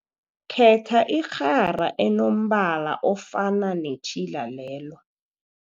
Khetha irhara enombala ofana netjhila lelo.